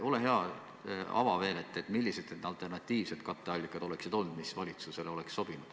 Ole hea, palun ava, millised võinuks olla alternatiivsed katteallikad, mis valitsusele oleksid sobinud.